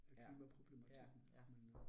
Ja, ja ja